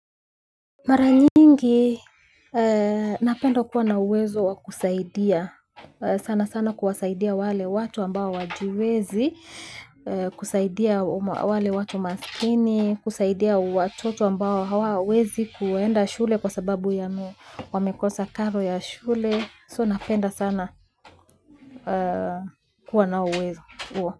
Mara nyingii, napenda kuwa na uwezo wa kusaidia, sana sana kuwasaidia wale watu ambao wajiwezi, kusaidia wale watu masking, kusaidia watoto ambao hawa wezi kuenda shule kwa sababu ya wamekosa karo yaa shulee, so napenda sana kuwa na uwezo.